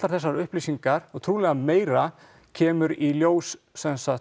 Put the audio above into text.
þessar upplýsingar og trúlega meira kemur í ljós